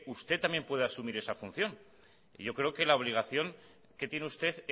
usted también puede asumir esa función y yo creo que la obligación que tiene usted